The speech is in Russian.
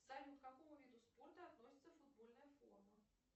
салют к какому виду спорта относится футбольная форма